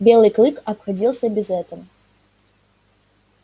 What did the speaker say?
белый клык обходился без этого